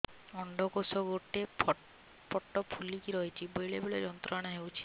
ଅଣ୍ଡକୋଷ ଗୋଟେ ପଟ ଫୁଲିକି ରହଛି ବେଳେ ବେଳେ ଯନ୍ତ୍ରଣା ହେଉଛି